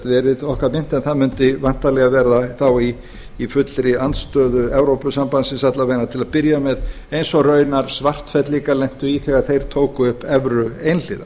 verið okkar mynt en það mundi væntanlega verða þá í fullri andstöðu evrópusambandsins alla vega til að byrja með eins og raunar svartfellingar lentu í þeir þeir tóku upp evru einhliða